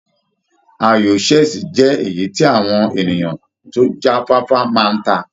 Ayò chess jẹ́ èyí tí àwọn ènìyàn tó já fáfá máa ń ta.